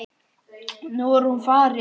Nú er hún farin.